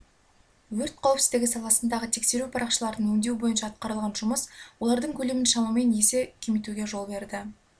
өрт қауіпсіздігі саласындағы тексеру парақшаларын өңдеу бойынша атқарылған жұмыс олардың көлемін шамамен есе кемітуге жол берді